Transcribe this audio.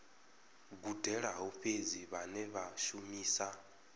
gudelaho fhedzi vhane vha shumisa